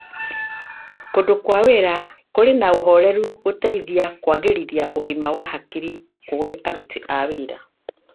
Kũndũ kwa wĩra kũrĩ na ũhoreru gũteithagia kũagĩrithia ũgima wa hakiri kũrĩ aruti a wĩra.